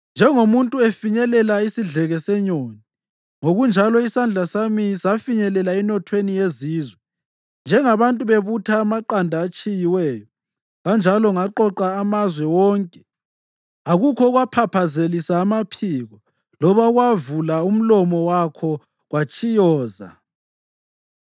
Njengomuntu efinyelela isidleke senyoni, ngokunjalo isandla sami safinyelela enothweni yezizwe, njengabantu bebutha amaqanda atshiyiweyo, kanjalo ngaqoqa amazwe wonke; akukho okwaphaphazelisa amaphiko loba okwavula umlomo wakho kwatshiyoza.’ ”